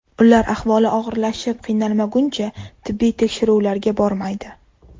Ular ahvoli og‘irlashib yiqilmaguncha tibbiy tekshiruvlarga bormaydi.